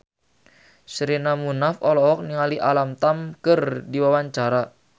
Sherina Munaf olohok ningali Alam Tam keur diwawancara